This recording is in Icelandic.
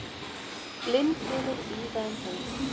Blindbylur víða um heim